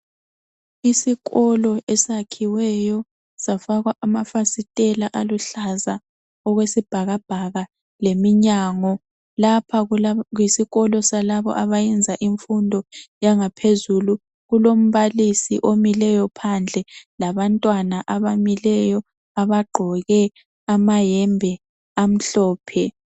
Isikolo esakhiweyo safakwa amafasitela aluhlaza okwesibhakabhaka leminyango lapha yisikolo salabo abayenza imfundo yangaphezulu kulombalisi omileyo phandle labantwana abamileyo abagqoke amayembe amhlophe